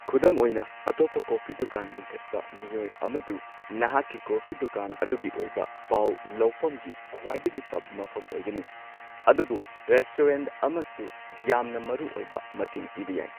ꯈꯨꯗꯝ ꯑꯣꯏꯅ, ꯑꯇꯣꯞꯄ ꯀꯣꯐꯤ ꯗꯨꯀꯥꯟ ꯂꯤꯡꯈꯠꯄ ꯃꯤꯑꯣꯏ ꯑꯃꯗꯨ ꯅꯍꯥꯛꯀꯤ ꯀꯣꯐꯤ ꯗꯨꯀꯥꯟ ꯑꯗꯨꯒꯤ ꯑꯣꯏꯕ ꯄꯥꯎ ꯂꯧꯐꯝꯒꯤ ꯈ꯭ꯋꯥꯏꯗꯒꯤ ꯐꯕ ꯃꯐꯝ ꯑꯣꯏꯒꯅꯤ, ꯑꯗꯨꯕꯨ ꯔꯦꯁꯇꯨꯔꯦꯟꯠ ꯑꯃꯁꯨ ꯌꯥꯝꯅ ꯃꯔꯨꯑꯣꯏꯕ ꯃꯇꯦꯡ ꯄꯤꯕ ꯌꯥꯏ꯫